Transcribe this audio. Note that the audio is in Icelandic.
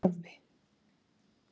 Torfi